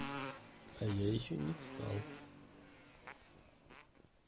а я ещё не встал